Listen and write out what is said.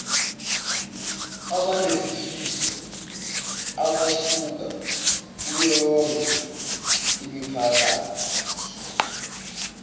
abanesifiso abasuka kuyoyonkeimiphakathi